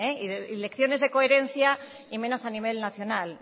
y lecciones de coherencia y menos a nivel nacional